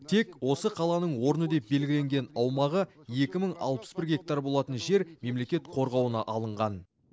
тек осы қаланың орны деп белгіленген аумағы екі мың алпыс бір гектар болатын жер мемлекет қорғауына алынған